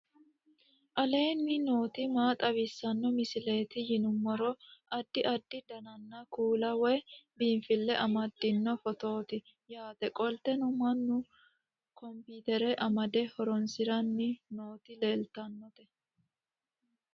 aleenni nooti maa xawisanno misileeti yinummoro addi addi dananna kuula woy biinsille amaddino footooti yaate qoltenno mannu kompiitere amade horonsiranni nooti leeeltanno